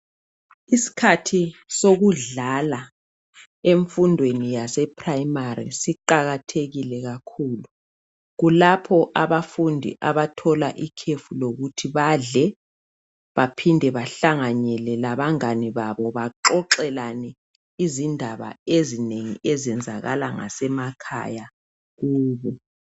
Isikhathi sokudlala emfundweni yase primary siqakathekile kakhulu, kulapho abafundi abathola ikhefu lokuthi badle baphinde behlanganele laba ngane babo baxoxelane indaba ezinengi ezenzakala ngasemakhaya kubo.